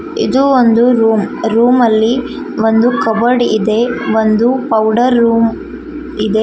ಇದು ಒಂದು ರೂಮ್ ರೂಮಲ್ಲಿ ಒಂದು ಕಬೋರ್ಡ್ ಇದೆ ಒಂದು ಪೌಡರ್ ರೂಮ್ ಇದೆ.